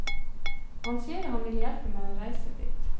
Han sier han vil hjelpe meg å reise dit.